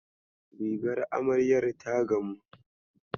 Rigar amaryar ta gamu?